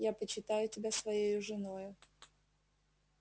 я почитаю тебя своею женою